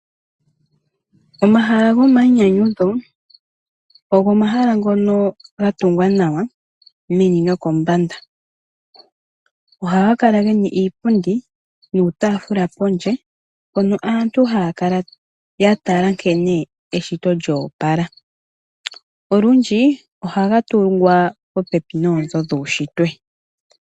Omahala gomainyanyudho ogo omahala ngono gatungwa nawa meni nokombanda . Ohaga kala gena iipundi niitafuula pondje mpono aantu haya kala ya tala nkene eshito lya opala . Olundji ohaga tungwa popepi noonzo dhuushitwe.